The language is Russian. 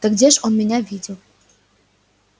да где ж он меня видел